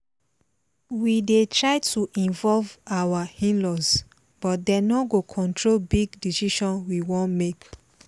we dey try to involve our in-laws but dem no go control big decision we wan make